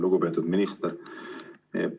Lugupeetud minister!